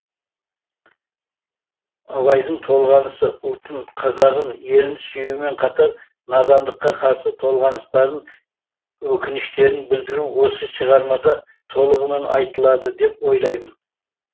абайдың толғанысы ұлтын қазағын елін сүюімен қатар надандыққа қарсы толғаныстарын өкініштерін білдіруі осы шығармада толығымен айтылады деп ойлаймын